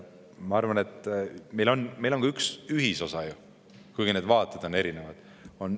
Ma arvan, et meil on ka üks ühisosa ju, kuigi vaated on erinevad.